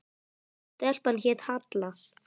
Svo stelpan hét Halla.